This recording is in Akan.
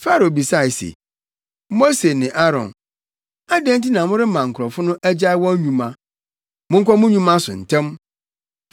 Farao bisae se, “Mose ne Aaron, adɛn nti na morema nkurɔfo no agyae wɔn nnwuma? Monkɔ mo nnwuma so ntɛm!”